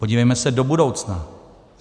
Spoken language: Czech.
Podívejme se do budoucna.